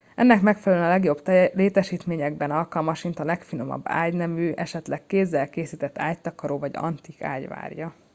ennek megfelelően a legjobb létesítményekben alkalmasint a legfinomabb ágynemű esetleg kézzel készített ágytakaró vagy antik ágy várja